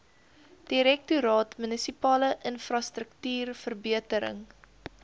direktoraat munisipale infrastruktuurverbetering